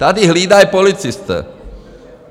Tady hlídají policisté.